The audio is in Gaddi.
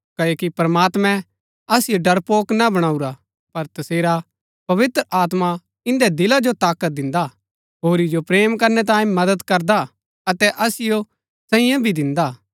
क्ओकि प्रमात्मैं असिओ डरपोक ना बणाऊरा पर तसेरा पवित्र आत्मा इन्दै दिला जो ताकत दिन्दा हा होरी जो प्रेम करनै तांये मदद करदा हा अतै असिओ संयम भी दिन्दा हा